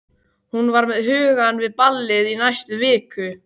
Hún var með hugann við ballið í næstu viku.